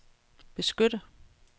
beskytte